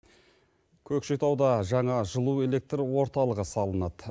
көкшетауда жаңа жылу электр орталығы салынады